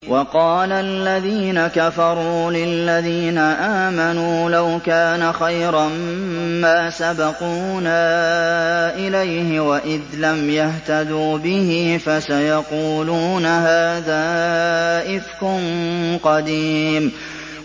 وَقَالَ الَّذِينَ كَفَرُوا لِلَّذِينَ آمَنُوا لَوْ كَانَ خَيْرًا مَّا سَبَقُونَا إِلَيْهِ ۚ وَإِذْ لَمْ يَهْتَدُوا بِهِ فَسَيَقُولُونَ هَٰذَا إِفْكٌ قَدِيمٌ